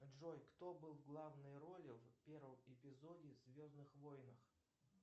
джой кто был в главной роле в первом эпизоде в звездных войнах